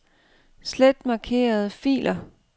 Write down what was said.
Slet markerede filer.